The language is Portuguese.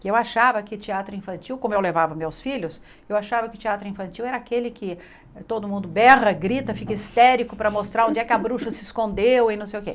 Que eu achava que teatro infantil, como eu levava meus filhos, eu achava que teatro infantil era aquele que todo mundo berra, grita, fica histérico para mostrar onde é que a bruxa se escondeu e não sei o quê.